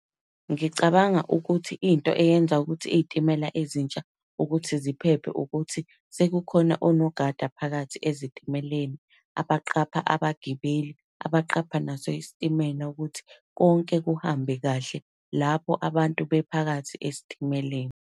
Ngicabanga ukuthi into eyenza ukuthi iy'timela ezintsha ukuthi ziphephe, ukuthi sekukhona onogada phakathi ezitimeleni, abaqapha abagibeli, abaqapha naso isitimela ukuthi konke kuhambe kahle lapho abantu bephakathi esitimeleni.